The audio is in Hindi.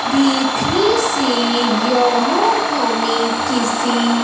देखनें से यह हमें किसी--